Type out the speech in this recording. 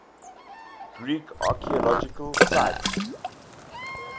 greek archaeological sites